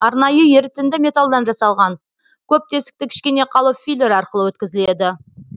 арнайы ерітінді металдан жасалған көп тесікті кішкене қалып филер арқылы өткізіледі